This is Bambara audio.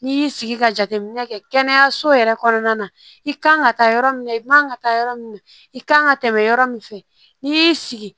N'i y'i sigi ka jateminɛ kɛ kɛnɛyaso yɛrɛ kɔnɔna na i ka kan ka taa yɔrɔ min na i man kan ka taa yɔrɔ min na i kan ka tɛmɛ yɔrɔ min fɛ n'i y'i sigi